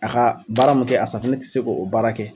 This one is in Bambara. A ka baara mun kɛ a safunɛ ti se k'o o baara kɛ.